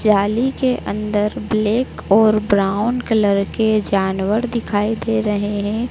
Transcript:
जाली के अंदर ब्लैक और ब्राउन कलर के जानवर दिखाई दे रहें हैं।